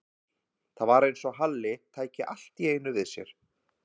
Það var eins og Halli tæki allt í einu við sér.